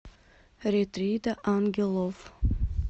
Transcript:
ретрида ангелов